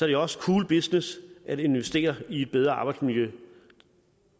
det også cool business at investere i et bedre arbejdsmiljø